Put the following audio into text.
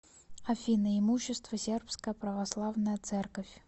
афина имущество сербская православная церковь